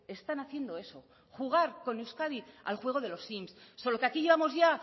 están haciendo eso jugar con euskadi al juego de los sims solo que aquí llevamos ya